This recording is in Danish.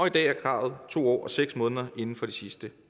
i dag er kravet to år og seks måneder inden for de sidste